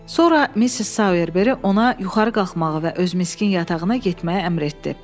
Sonra Missis Soyerberi ona yuxarı qalxmağı və öz miskin yatağına getməyi əmr etdi.